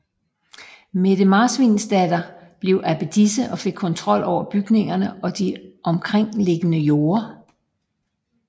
Mette Marsvinsdatter blev abbedisse og fik kontrol over bygningerne og de omkringliggende jorde